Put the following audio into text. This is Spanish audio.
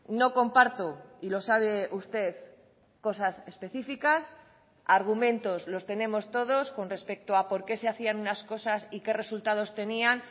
no comparto y lo sabe usted cosas específicas argumentos los tenemos todos con respecto a por qué se hacían unas cosas y qué resultados tenían